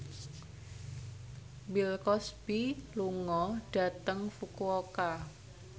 Bill Cosby lunga dhateng Fukuoka